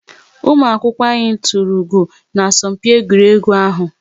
Ụmụ akwụkwọ anyị tụrụ ugo na asọmpi egwuregwu ahu